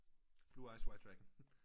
Blue eyes white dragon